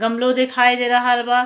गमलो दिखाई दे रहल बा।